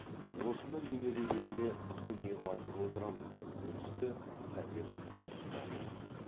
осыны немерелеріме үнемі айтып отырамын деп бөлісті совет құсманұлы